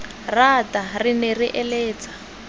rata re ne re eletsa